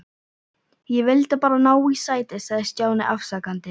Ég vildi bara ná í sæti sagði Stjáni afsakandi.